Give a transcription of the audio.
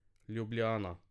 Ljubljana.